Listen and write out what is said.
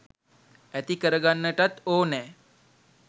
ඇති කරගන්නටත් ඕනෑ.